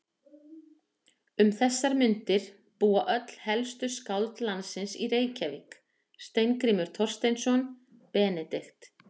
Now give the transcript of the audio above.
Um þessar mundir búa öll helstu skáld landsins í Reykjavík: Steingrímur Thorsteinsson, Benedikt